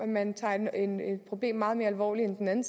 man tager et problem meget mere alvorligt end den anden